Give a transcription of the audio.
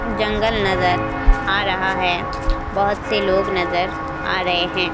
जंगल नजर आ रहा है बहुत से लोग नजर आ रहे हैं।